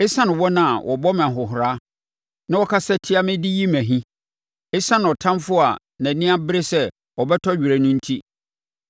ɛsiane wɔn a wɔbɔ me ahohora na wɔkasa tia me de yi me ahi, ɛsiane ɔtamfoɔ a nʼani abre sɛ ɔbɛtɔ were no enti.